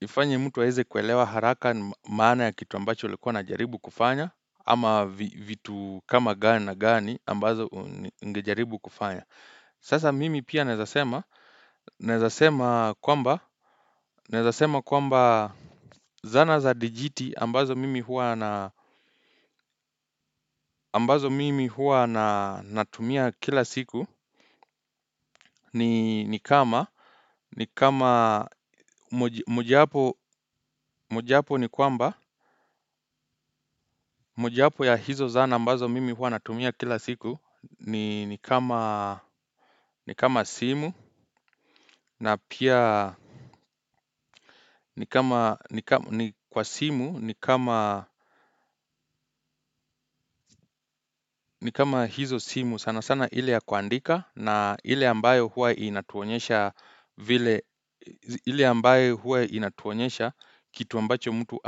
Ifanya mtu aeze kuelewa haraka maana ya kitu ambacho ulikua una jaribu kufanya. Ama vitu kama gani na gani ambazo ungejaribu kufanya. Sasa mimi pia naezasema kwamba zana za dijiti ambazo mimi hua natumia kila siku ni kama moja wapo ya hizo zana ambazo mimi hua natumia kila siku ni kama simu na pia ni kwa simu ni kama hizo simu sana sana ile ya kuandika na ile ambayo huwa inatuonyesha kitu ambacho mtu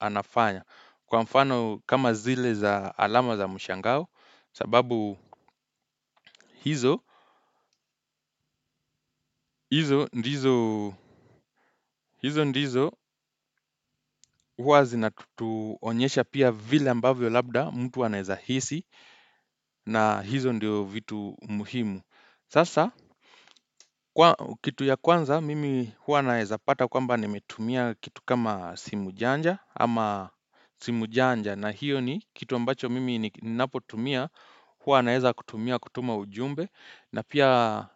anafanya. Kwa mfano kama zile za alama za mshangao sababu hizo ndizo huwa zinatuonyesha pia vile ambavyo labda mtu anaeza hisi na hizo ndio vitu muhimu. Sasa kitu ya kwanza mimi huwa naeza pata kwamba nimetumia kitu kama simu janja ama simu janja na hiyo ni kitu ambacho mimi ninapotumia huwa naeza kutumia kutuma ujumbe. Na pia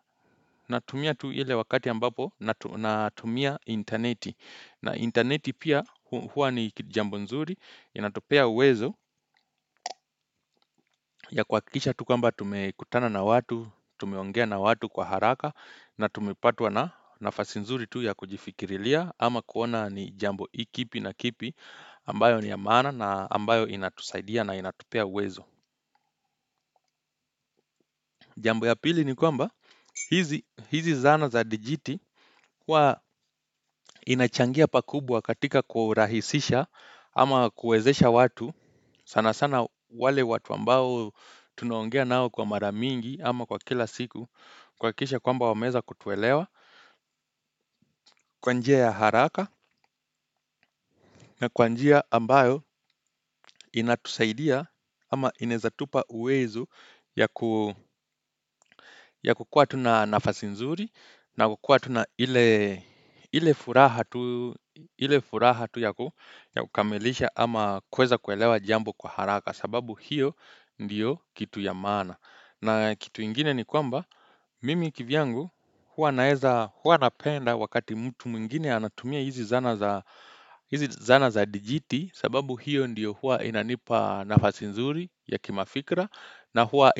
natumia tu ile wakati ambapo, natumia intaneti. Na intaneti pia huwa ni jambo nzuri, inatupea uwezo ya kuakikisha tu kwamba tumekutana na watu, tumeongea na watu kwa haraka na tumepatwa na nafasi nzuri tu ya kujifikirilia ama kuona ni jambo ikipi na kipi ambayo ni ya mqana na ambayo inatusaidia na inatupea uwezo. Jambo ya pili ni kwamba hizi zana za dijiti wa inachangia pakubwa katika kurahisisha ama kuezesha watu sana sana wale watu ambao tunaongea nao kwa mara mingi ama kwa kila siku kuakikisha kwamba wameza kutuelewa kwa njia ya haraka na kwa njia ambayo inatusaidia ama inaezatupa uwezo ya ya kukua tu na nafasi nzuri. Na kukua tuna ile furaha tu ya kukamilisha ama kuweza kuelewa jambo kwa haraka. Sababu hiyo ndiyo kitu ya maana. Na kitu ingine ni kwamba, mimi kivyangu huwa napenda wakati mtu mwingine anatumia hizi zana za zana za dijiti. Sababu hiyo ndiyo huwa inanipa nafasi nzuri ya kimafikra. Na huwa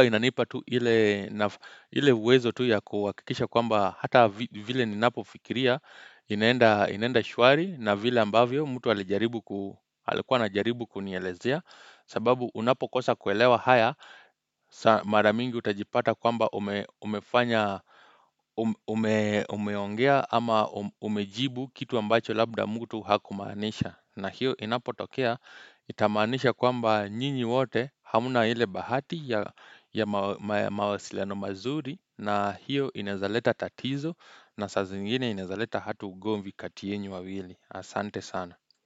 inanipa tu ile uwezo tu ya kuakikisha kwamba hata vile ninapo fikiria inaenda shwari na vile ambavyo mtu alikua anajaribu kunielezea. Sababu unapo kosa kuelewa haya mara mingi utajipata kwamba umefanya umeongea ama umejibu kitu ambacho labda mtu hakumaanisha. Na hiyo inapotokea itamaanisha kwamba nyinyi wote hamna ile bahati ya mawasiliano mazuri na hiyo inaezaleta tatizo na saa zingine inaezaleta hatu ugomvi kati yenyu wawili. Asante sana.